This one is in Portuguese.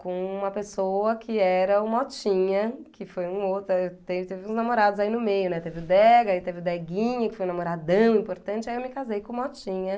com uma pessoa que era o Motinha, que foi um outro, aí teve teve uns namorados aí no meio, teve o Dega, teve o Deguinho, que foi um namoradão importante, aí eu me casei com o Motinha.